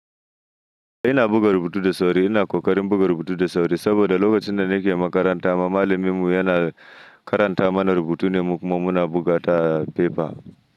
Ina buga rubutu da sauri, ina ƙoƙarin buga rubutu da sauri saboda lokacin da nake makaranta ma, malaminmu yana karanta mana rubutu ne kuma muna buga ta a fefa.